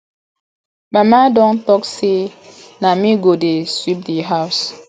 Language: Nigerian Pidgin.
mama don talk say na me go dey sweep the house